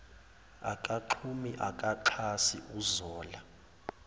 akaxhumi akaxhasi uzola